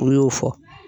U y'o fɔ